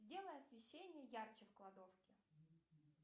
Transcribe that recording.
сделай освещение ярче в кладовке